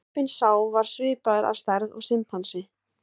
Apinn sá var svipaður að stærð og simpansi.